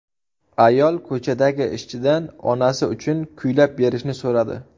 Ayol ko‘chadagi ishchidan onasi uchun kuylab berishni so‘radi.